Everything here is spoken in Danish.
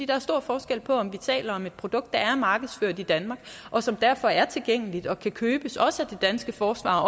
der er stor forskel på om vi taler om et produkt der er markedsført i danmark og som derfor er tilgængeligt og kan købes også det danske forsvar og